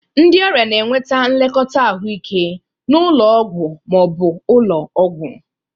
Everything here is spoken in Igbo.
Ndị ọrịa na-enweta nlekọta ahụike n'ụlọ ọgwụ ma ọ bụ ụlọ ọgwụ.